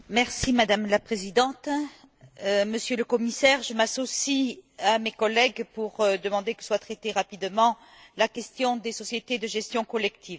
Madame la Présidente, Monsieur le Commissaire, je m'associe à mes collègues pour demander que soit traitée rapidement la question des sociétés de gestion collective.